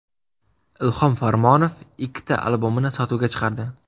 Ilhom Farmonov ikkita albomini sotuvga chiqardi.